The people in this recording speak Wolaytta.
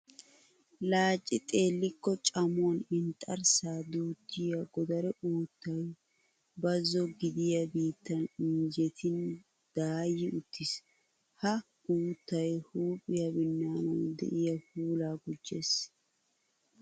Laacci xeellikko camuwan inxxarssaa duuttiya godare uuttay bazzo gidiya biittan injjetin daayi uttiis. Ha uuttay huuphiya binnaanawu de'iya puulaa gujjees.